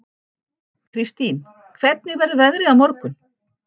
Kristine, hvernig verður veðrið á morgun?